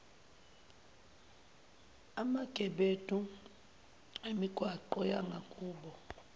emagebedu emigwaqo yangakubo